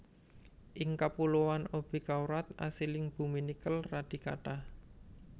Ing kapuloan Obi kawrat asiling bumi nikel radi kathah